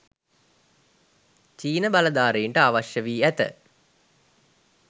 චීන බලධාරීන්ට අවශ්‍ය වී ඇත